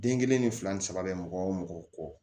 Den kelen ni fila ni saba bɛ mɔgɔ o mɔgɔ kɔ